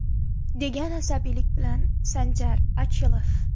degan asabiylik bilan Sanjar Ochilov.